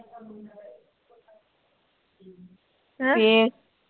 ਫੇਰ